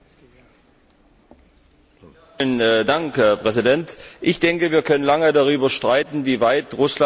Herr Präsident! Ich denke, wir können lange darüber streiten, wie weit Russland auf dem Wege zur Demokratie gekommen ist.